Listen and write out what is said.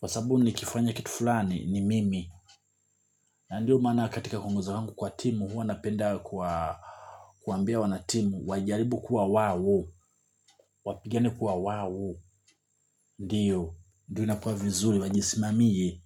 Kwa sababu nikifanya kitu fulani ni mimi na ndiyo maana katika kuongoza wangu kwa timu huwa napenda kuwaambia wanatimu wajaribu kuwa wao wapigane kuwa wao. Ndiyo, ndiyo inakuwa vizuri wajisimamie.